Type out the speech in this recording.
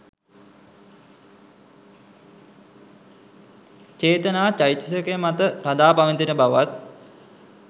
චේතනා චෛතසිකය මත රඳා පවතින බවත්